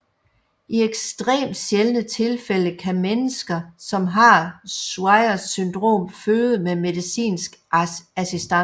I ekstremt sjældne tilfælde kan mennesker som har Swyers syndrom føde med medicinsk assistance